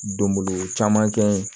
Donbolo caman kɛ